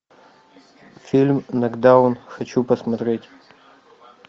фильм нокдаун хочу посмотреть